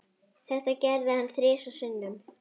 Þetta gerði hann þrisvar sinnum.